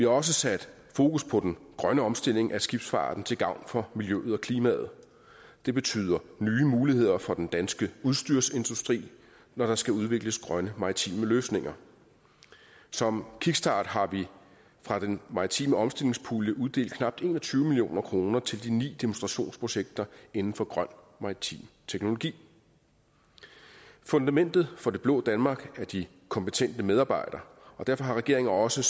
også sat fokus på den grønne omstilling af skibsfarten til gavn for miljøet og klimaet det betyder nye muligheder for den danske udstyrsindustri når der skal udvikles grønne maritime løsninger som kickstart har vi fra den maritime omstillingspulje uddelt knap en og tyve million kroner til de ni demonstrationsprojekter inden for grøn maritim teknologi fundamentet for det blå danmark er de kompetente medarbejdere og derfor har regeringen også